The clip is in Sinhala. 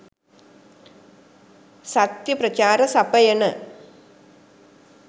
සත්‍ය ප්‍රචාර සපයන